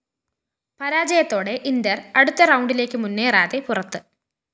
പരാജയത്തോടെ Inter അടുത്ത റൗണ്ടിലേക്ക് മുന്നേറാതെ പുറത്ത്